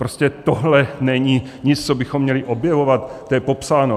Prostě tohle není nic, co bychom měli objevovat, to je popsáno.